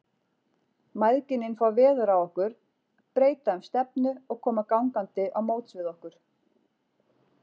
Mæðginin fá veður af okkur, breyta um stefnu og koma gangandi á móts við okkur.